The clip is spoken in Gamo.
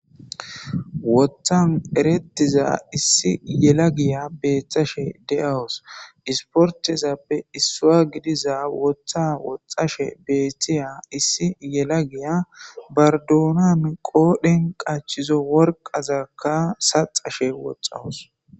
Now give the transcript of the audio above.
woththan erettiza issi yela giya beettashe de7awos isportezappe issua gidiza wotha woxashe beeththiya issi yela giya bardoonam qoodhen qachizo worqazakka saxashe woxawos